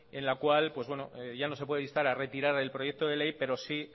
en la cual ya no se puede instar a retirar el proyecto de ley pero sí